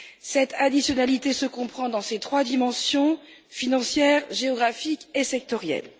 Cette additionnalité se comprend dans ses trois dimensions financière, géographique et sectorielle.